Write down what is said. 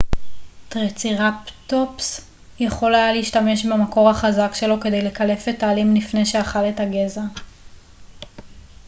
טריצרטופס יכול היה להשתמש במקור החזק שלו כדי לקלף את העלים לפני שאכל את הגזע